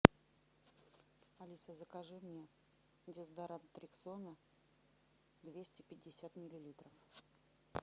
алиса закажи мне дезодорант рексона двести пятьдесят миллилитров